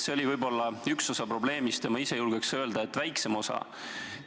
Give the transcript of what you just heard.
See oli võib-olla üks osa probleemist ja ma julgeks öelda, et väiksem osa.